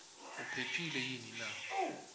uphephile yini naye